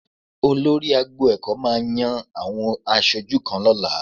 Olórí agbo ẹ̀kọ́ máa àwọn aṣojú kan lọ́la